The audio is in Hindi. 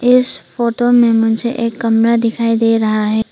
इस फोटो में मुझे एक कमरा दिखाई दे रहा है।